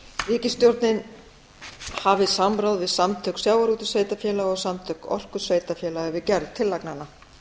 ríkisstjórnin hafi samráð við samtök sjávarútvegssveitarfélaga og samtök orkusveitarfélaga við gerð tillagnanna